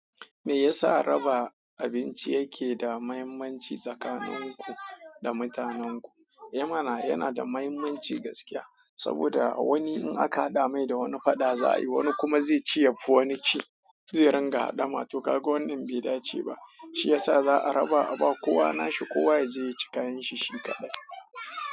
Me yasa raba abinci yake da mahimmanci tsakanin ku da mutanenku? I mana yana da mahimmanci gaskiya saboda wani in aka haɗa mai da wani fada za a yi, wani kuma zai ci yafi wani ci, zai ringa haɗama to ka ga wannan bai dace ba. Shi yasa za a raba a ba kowa nashi kowa yaje ya ci kayan shi shi kaɗai.